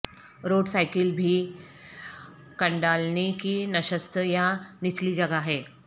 road سائیکل بھی کنڈالینی کی نشست یا نچلی جگہ ہے